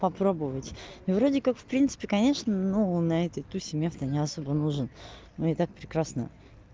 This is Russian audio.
попробовать но вроде как в принципе конечно ну на этой тусе мне ты не особо нужен но и так прекрасно